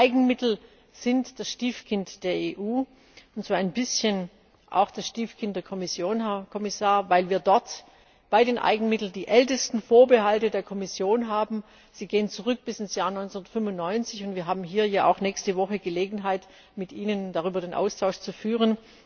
Die Eigenmittel sind das Stiefkind der EU, ein bisschen auch das Stiefkind der Kommission, Herr Kommissar, weil wir dort bei den Eigenmitteln die ältesten Vorbehalte der Kommission haben. Sie gehen zurück bis in das Jahr 1995. Wir haben hier ja auch nächste Woche Gelegenheit, mit Ihnen darüber den Austausch zu führen.